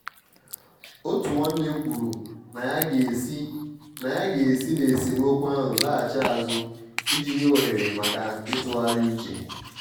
otu nwanne kwuru na ya ga-esi n' ya ga-esi n' esemokwu ahụ laghachi azụ iji nye ohere maka ịtụgharị uche.